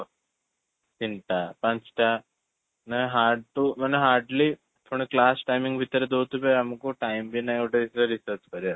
ତିନିଟା, ପାଞ୍ଚଟା ନା hard to ମାନେ hardly ପୁଣି class timing ଭିତରେ ଦଉଥିବେ ଆମକୁ time ବି ନାହି ଗୋଟେ ଜିନିଷ research କରିବାକୁ